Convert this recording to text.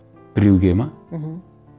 біреуге ме мхм